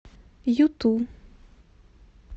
юту